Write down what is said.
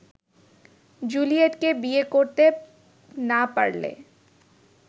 জুলিয়েটকে বিয়ে করতে না পারলে